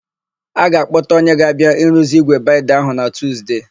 A ga-akpọta onye ga-abịa iruzi ígwè baịnda ahụ na Tuzde.